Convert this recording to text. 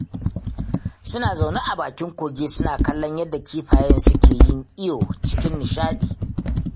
Suna zaune a bakin kogin suna kallon yadda kifayen suke yin iyo cikin nishaɗi